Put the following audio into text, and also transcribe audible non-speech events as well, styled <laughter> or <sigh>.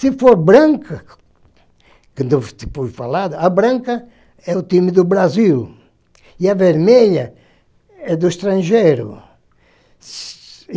Se for branca, quando <unintelligible> a branca é o time do Brasil e a vermelha é do estrangeiro.